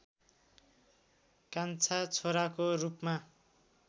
कान्छा छोराको रूपमा